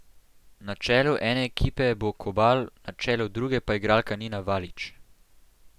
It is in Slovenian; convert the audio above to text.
Na čelu ene ekipe bo Kobal, na čelu druge pa igralka Nina Valič.